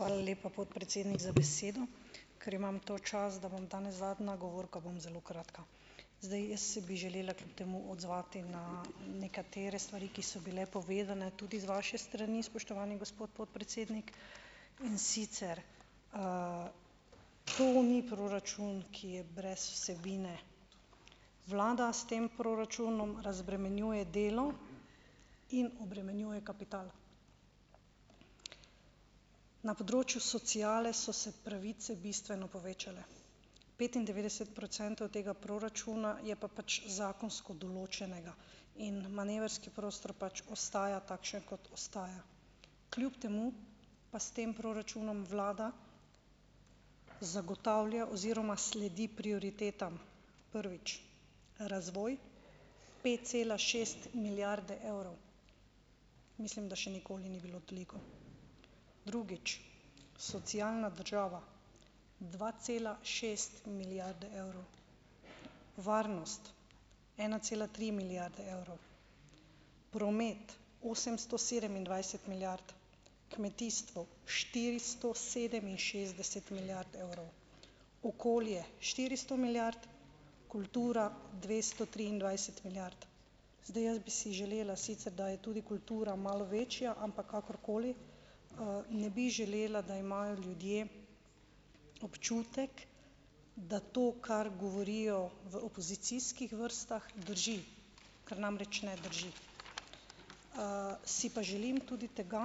Hvala lepa, podpredsednik, za besedo. Ker imam to čast, da bom danes zadnja govorka, bom zelo kratka. Zdaj, jaz si bi želela kljub temu odzvati na nekatere stvari, ki so bile povedane, tudi z vaše strani, spoštovani gospod podpredsednik, in sicer, to ni proračun, ki je brez vsebine. Vlada s tem proračunom razbremenjuje delo in obremenjuje kapital. Na področju sociale so se pravice bistveno povečale. Petindevetdeset procentov tega proračuna je pa pač zakonsko določenega in manevrski prostor pač ostaja takšen, kot ostaja. Kljub temu pa s tem proračunom vlada zagotavlja oziroma sledi prioritetam. Prvič, razvoj pet celih šest milijarde evrov, mislim, da še nikoli ni bilo toliko. Drugič, socialna država - dva cela šest milijarde evrov, varnost - ena cela tri milijarde evrov, promet - osemsto sedemindvajset milijard, kmetijstvo - štiristo sedeminšestdeset milijard evrov, okolje - štiristo milijard, kultura - dvesto triindvajset milijard. Zdaj jaz bi si želela, sicer, da je tudi kultura malo večja, ampak kakorkoli, ne bi želela, da imajo ljudje občutek, da to, kar govorijo v opozicijskih vrstah, drži, ker namreč ne drži. Si pa želim tudi tega,